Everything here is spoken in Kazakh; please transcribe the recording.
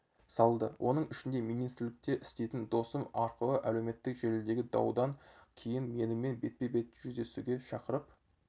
салды оның ішінде министрлікте істейтін досым арқылы әлеуметтік желідегі даудан кейін менімен бетпе-бет жүздесуге шақырып